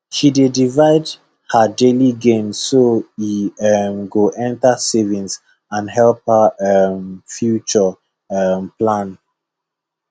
she dey divide her daily gain so e um go enter savings and help her um future um plan